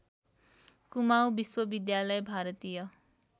कुमाउँ विश्वविद्यालय भारतीय